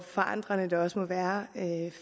forandrende det også må være